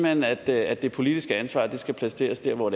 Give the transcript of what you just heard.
hen at at det politiske ansvar skal placeres der hvor